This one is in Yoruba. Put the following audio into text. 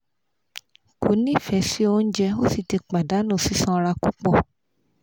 ko nife si ounje o si ti padanu sisanra pupo